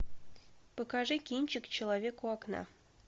покажи кинчик человек у окна